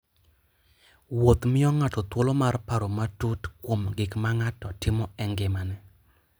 Wuoth miyo ng'ato thuolo mar paro matut kuom gik ma ng'ato timo e ngimane.